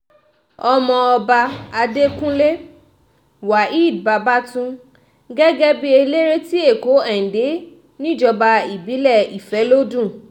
ọmọọba adẹkùnlé waheed babatun gẹ́gẹ́ bíi eléré ti èkó èndé níjọba ìbílẹ̀ ìfọlọ́dún